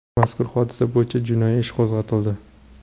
Mazkur hodisa bo‘yicha jinoiy ish qo‘zg‘atildi .